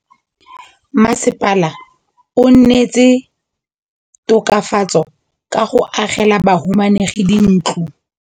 Mmasepala o neetse tokafatsô ka go agela bahumanegi dintlo.